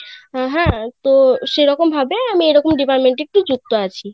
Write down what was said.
তো সেরকম ভাবে এরকম আমি ডিপার্ট্মেন্টে যুক্ত আছি